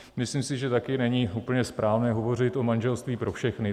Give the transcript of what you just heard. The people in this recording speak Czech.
Myslím si, že tady není úplně správné hovořit o manželství pro všechny.